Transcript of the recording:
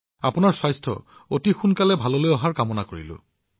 আপোনাৰ স্বাস্থ্যৰ শীঘ্ৰ আৰোগ্য হওক তাৰে কামনা কৰিলো